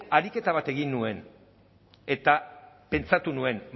ariketa bat egin nuen eta pentsatu nuen